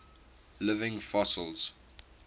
living fossils